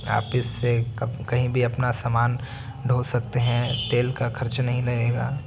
यहाँ पे से कब कहीं भी अपना सामान ढो सकते हैं तेल का खर्च नहीं लगेगा।